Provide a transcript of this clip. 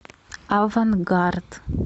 авангард